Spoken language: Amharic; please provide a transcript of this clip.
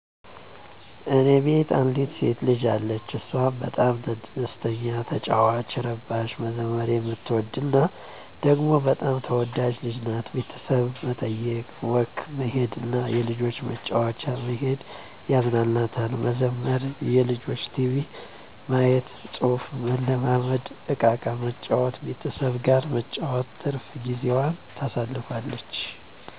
እኔ ቤት አንዲት ሴት ልጅ አለች። እሷም በጣም ደስተኛ፤ ተጫዋች፤ እረባሽ፤ መዘመር የምትወድ እና ደግሞ በጣም ተወዳጅ ልጅ ናት። ቤተሠብ መጠዬቅ፤ ወክ መሄድ እና የልጆች መጫወቻ መሄድ ያዝናናታል። መዘመር፤ የልጆች ቲቪ ማዬት፤ ፅሁፍ መለማመድ፤ እቃቃ መጫወት፤ ቤተሠብ ጋር መጫወት ትርፍ ጊዜዋን ታሣልፋለች።